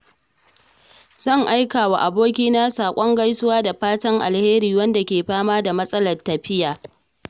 zan aika wa abokina saƙon gaisuwa da fatan alheri wanda ke fama da matsalar lafiya.